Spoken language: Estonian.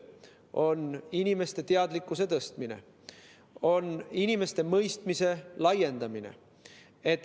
See on inimeste teadlikkuse tõstmine, see on inimeste mõistmise laiendamine.